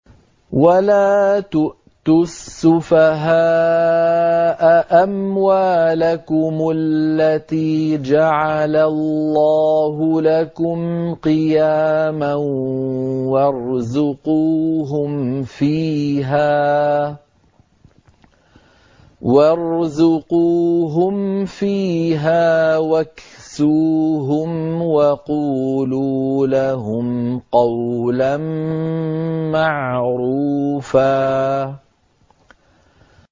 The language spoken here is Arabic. وَلَا تُؤْتُوا السُّفَهَاءَ أَمْوَالَكُمُ الَّتِي جَعَلَ اللَّهُ لَكُمْ قِيَامًا وَارْزُقُوهُمْ فِيهَا وَاكْسُوهُمْ وَقُولُوا لَهُمْ قَوْلًا مَّعْرُوفًا